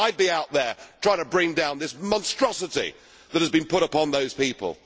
I would be out there trying to bring down this monstrosity that has been put upon those people.